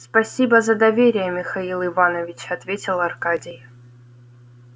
спасибо за доверие михаил иванович ответил аркадий